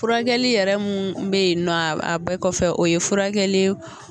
Furakɛli yɛrɛ mun bɛ ye nɔ a bɛɛ kɔfɛ o ye furakɛli ye